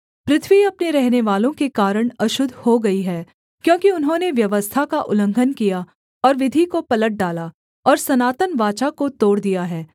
पृथ्वी अपने रहनेवालों के कारण अशुद्ध हो गई है क्योंकि उन्होंने व्यवस्था का उल्लंघन किया और विधि को पलट डाला और सनातन वाचा को तोड़ दिया है